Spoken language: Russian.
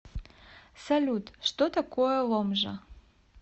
салют что такое ломжа